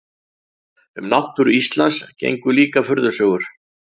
Um náttúru Íslands gengu líka furðusögur.